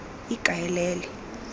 ikaelele